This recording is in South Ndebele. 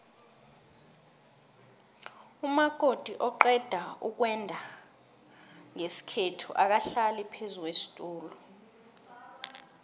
umakoti oqedukwenda nqesikhethu akahlali phezukwesitula